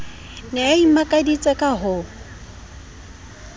ne a imakaditse ka ho